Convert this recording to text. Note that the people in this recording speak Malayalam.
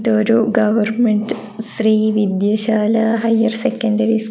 ഇതൊരു ഗവർമെൻറ് ശ്രീവിദ്യശാല ഹയർ സെക്കൻഡറി സ്കൂ--